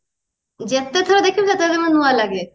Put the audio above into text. ଯେତେ ଥର ଦେଖିବୁ ସେତେଥର ମାନେ ନୂଆ ଲାଗେ